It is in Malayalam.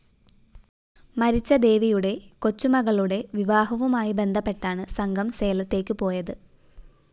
മരിച്ച ദേവിയുടെ കൊച്ചുമകളുടെ വിവാഹവുമായി ബന്ധപ്പെട്ടാണ് സംഘം സേലത്തേയ്ക്ക് പോയത്